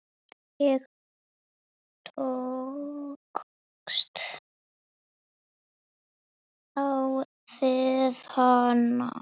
Ég tókst á við hana.